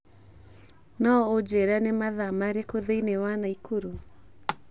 No ũnjĩĩre nĩ mathaa marĩkũ thĩinĩ wa nakuru